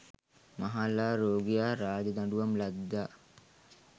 මහල්ලා, රෝගියා රාජදඬුවම් ලද්දා